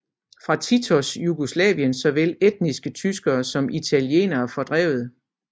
Fra Titos Jugoslavien blev såvel etniske tyskere som italienere fordrevet